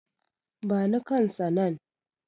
bani kansa nan!